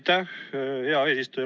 Aitäh, hea eesistuja!